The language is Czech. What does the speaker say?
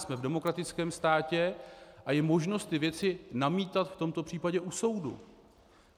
Jsme v demokratickém státě a je možno tyto věci namítat v tomto případě u soudu.